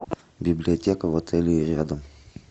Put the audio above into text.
библиотека в отеле или рядом